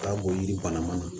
Taa bɔ yiri bana mana na